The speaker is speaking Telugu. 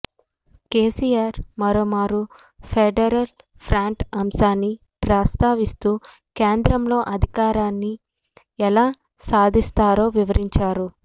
కేసీఆర్ మరోమారు ఫెడరల్ ఫ్రంట్ అంశాన్ని ప్రస్తావిస్తూ కేంద్రంలో అధికారాన్ని ఎలా సాధిస్తారో వివరించారు